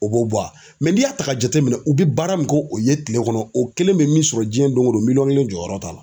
O b'o bɔ a la n'i y'a ta k'a jateminɛ u bɛ baara min k'o ye tile kɔnɔ o kelen bɛ min sɔrɔ jiyɛn don o don miliyɔn kelen jɔyɔrɔ t'a la.